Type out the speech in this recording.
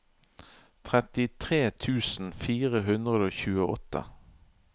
trettitre tusen fire hundre og tjueåtte